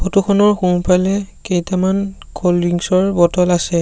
Photo খনৰ সোঁফালে কেইটামান ক'ল্ড ড্ৰিংছ ৰ বটল আছে।